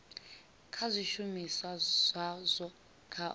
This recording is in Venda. kha zwishumiswa zwazwo kha u